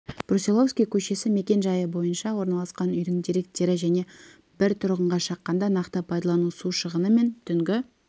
брусиловский көшесі мекен-жайы бойынша орналасқан үйдің деректері және бір тұрғынға шаққанда нақты пайдалану су шығыны мен түнгі